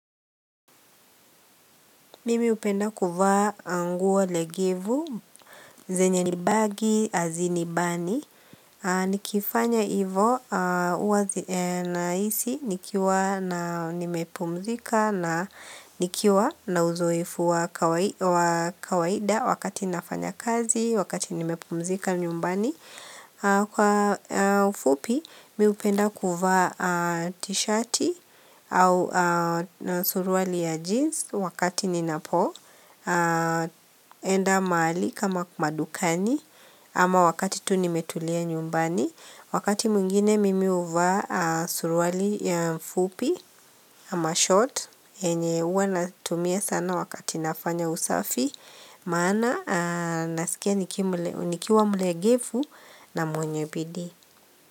Mimi hupenda kuvaa nguo legevu, zenye nibaggy, azinibani Nikifanya ivo, huwa naisi, nikiwa na nimepumzika na nikiwa na uzoefu wa kawaida wakati nafanya kazi, wakati nimepumzika nyumbani Kwa ufupi mihupenda kuvaa t-shati au suruali ya jeans wakati ninapo enda mahali kama madukani ama wakati tu nimetulia nyumbani Wakati mwingine mimi huvaa suruali ya fupi ama short yenye huwa natumia sana wakati nafanya usafi Maana nasikia nikiwa mlegefu na mwenye bidii.